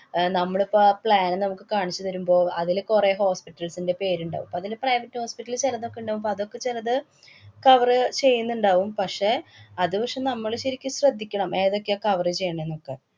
അഹ് നമ്മളിപ്പ ആ plan മുക്ക് കാണിച്ചു തരുമ്പോള്‍ അതില് കുറെ hospitals ന്‍റെ പേരിണ്ടാവും. അതില് private hospital ചെലതൊക്കെയുണ്ടാവും. പ്പ അതൊക്കെ ചെലത് cover ചെയ്യന്ന്ണ്ടാവും, പക്ഷേ, അത് പഷെ, നമ്മള് ശരിക്കും ശ്രദ്ധിക്കണം ഏതൊക്കെയാ cover ചെയ്യണേന്നൊക്കെ.